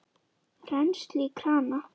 Rennsli í krana!